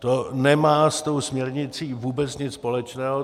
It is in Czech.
To nemá s tou směrnicí vůbec nic společného.